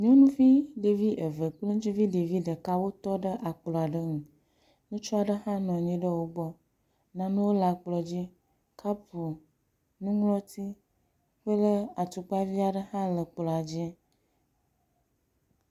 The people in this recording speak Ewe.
Nyɔnuvi ɖevi eve kple ŋutsuvi ɖevi ɖeka wotɔɖé akplɔaɖe ŋu, ŋutsuaɖe hã nɔanyi ɖe wógbɔ, nanewo le akplɔa dzi, kapu, nuŋlɔti kple atukpa viaɖe hã le kplɔadzi